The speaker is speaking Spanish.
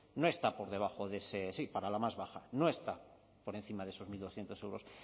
no está por debajo de ese sí para la más baja no está por encima de esos mil doscientos euros